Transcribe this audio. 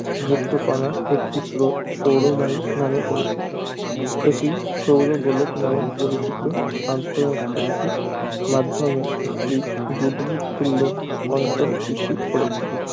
যুক্ত কণার একটি স্রোত সৌর বায়ু নামে পরিচিত এটি সৌরগোলক নামে পরিচিত আন্তঃনাক্ষত্রিক মাধ্যমে একটি বুদবুদ তুল্য অঞ্চল সৃষ্টি করেছে